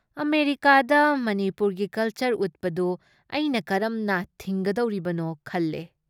ꯑꯃꯦꯔꯤꯀꯥꯥꯗ ꯃꯅꯤꯄꯨꯔꯒꯤ ꯀꯜꯆꯔ ꯎꯠꯄꯗꯨ ꯑꯩꯅ ꯀꯔꯝꯅ ꯊꯤꯡꯒꯗꯧꯔꯤꯕꯅꯣ ꯈꯜꯂꯦ ꯫